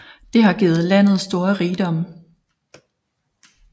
Det har givet landet store rigdomme